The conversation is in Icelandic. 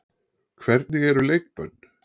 Hvernig eru leikbönn?